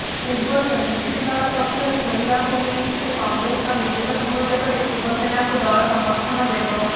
ପୂବର୍ରୁ NCP ଦଳ ପକ୍ଷରୁ ଶୁଣିବାକୁ ମିଳିଛି ଯେ କଂଗ୍ରେସର ମିଳିତ ସହଯୋଗରେ ଶିବସେନାକୁ ଦଳ ସମର୍ଥନ ଦେବ